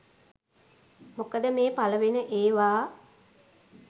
මොකද මේ පළවෙන ඒවා